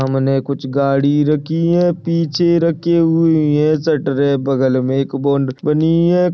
सामने कुछ गाड़ी रखी है पीछे रखी हुई है शटरे बगल मे एक बॉन्ड बनी है।